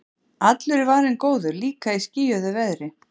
Allur er því varinn góður, líka í skýjuðu veðri.